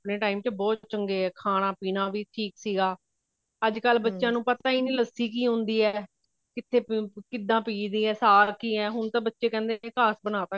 ਆਪਣੇ time ਚ ਬਹੁਤ ਚੰਗੇ ਖਾਣਾ ਪੀਣਾ ਵੀ ਠੀਕ ਸੀਗਾ ਅੱਜਕਲ ਬੱਚਿਆ ਨੂੰ ਪਤਾ ਹੀ ਨਹੀਂ ਲੱਸੀ ਕਿ ਹੁੰਦੀ ਐ ਕਿੱਥੇ ਕਿੱਦਾਂ ਪੀ ਦੀ ਹੈ ਸਾਗ ਕਿ ਐ ਹੁਣ ਤਾਂ ਬੱਚੇ ਕਹਿੰਦੇ ਨੇ ਕਾਸ ਬਨਾਤਾ